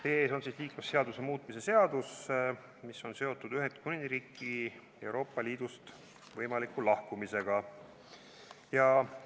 Teie ees on liiklusseaduse muutmise seadus, mis on seotud Ühendkuningriigi võimaliku lahkumisega Euroopa Liidust.